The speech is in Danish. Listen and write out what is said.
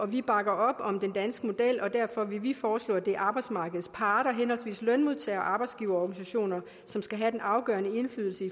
vi bakker op om den danske model og derfor vil vi foreslå at det er arbejdsmarkedets parter henholdsvis lønmodtager og arbejdsgiverorganisationer som skal have den afgørende indflydelse